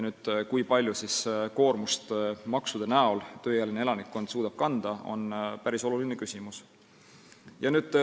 See, kui suurt koormust tööealine elanikkond maksude kujul suudab kanda, on päris oluline küsimus.